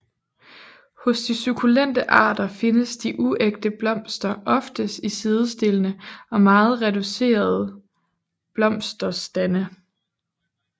Hos de sukkulente arter findes de uægte blomster oftest i sidestillede og meget reducerede blomsterstande